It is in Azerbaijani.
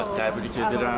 Bir daha təbrik edirəm.